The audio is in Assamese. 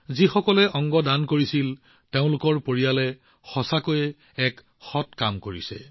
যিসকল লোকে অংগ দান কৰিছে তেওঁলোকৰ পৰিয়ালে প্ৰকৃততে বহুতো পুণ্য অৰ্জন কৰিছে